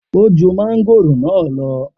O ju màngòrò naa lọ.